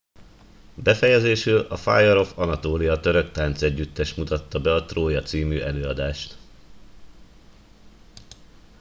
befejezésül a fire of anatolia török táncegyüttes mutatta be a trója című előadást